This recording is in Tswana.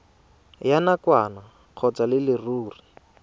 ya nakwana kgotsa ya leruri